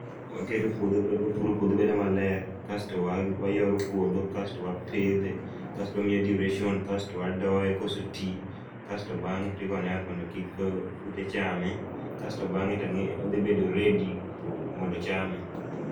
Waketo puodho bedo, wapuro puodho bedo maler, kasto wayoro puodho asto wapidhe, kasto wamiye duration ,kasto wadoye kosetii .Kasto bang'e tigone yath mondo kik kute chame, kasto bang'e tange, to odhi bedo ready mondo ochame